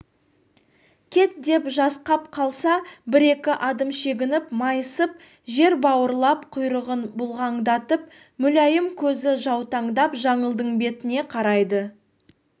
кет деп жасқап қалса бір-екі адым шегініп майысып жер бауырлап құйрығын бұлғаңдатып мүләйім көзі жаутаңдап жаңылдың бетіне қарайды